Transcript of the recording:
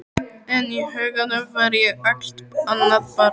En í huganum var ég allt annað barn.